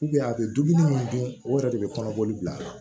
a bɛ dumuni min dun o yɛrɛ de bɛ kɔnɔbɔli bila a la